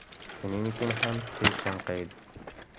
Shuning uchun ham tez chanqaydi.